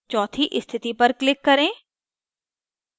चौथी स्थिति पर click करें